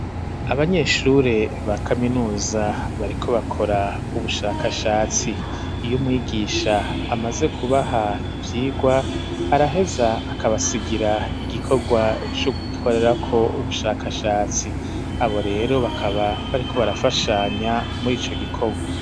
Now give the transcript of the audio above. Abanyeshure ba kaminuza bariko bakora ubushakashatsi . Iy'umwigisha amaze kubaha ivyigwa, araheza akabasigira igikorwa c'ugukorerako ubushakashatsi , abo rero bakaba bariko barafashanya muri ico gikorwa.